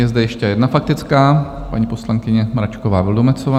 Je zde ještě jedna faktická - paní poslankyně Mračková Vildumetzová.